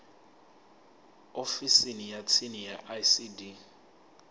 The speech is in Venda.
ofisini ya tsini ya icd